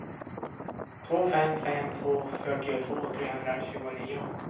två fem fem två fyrtiotvå trehundratjugonio